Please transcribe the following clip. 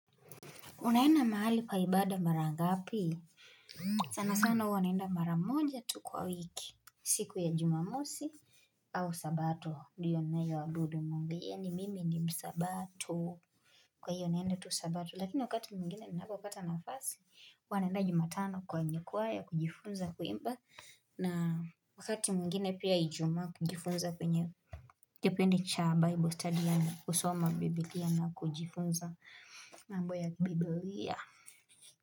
Unaenda mahali pa ibada mara ngapi? Sana sana huwa naenda mara moja tu kwa wiki. Siku ya Jumamosi au sabato. Ndiyo ninayoabudu Mungu. Yaani mimi ni msabato. Kwa hivyo naenda tu sabato. Lakini wakati mwingine ninapopata nafasi. Huwa naenda Jumatano kwa jukwaa ya kujifunza kuimba. Na wakati mwingine pia Ijumaa kujifunza kwenye. Kipindi cha Bible study yaani kusoma Biblia na kujifunza mambo ya kibibilia.